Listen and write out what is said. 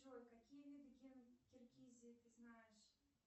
джой какие виды киргизии ты знаешь